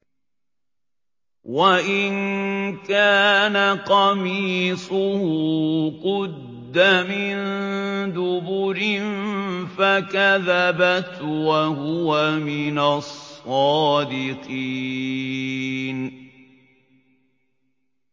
وَإِن كَانَ قَمِيصُهُ قُدَّ مِن دُبُرٍ فَكَذَبَتْ وَهُوَ مِنَ الصَّادِقِينَ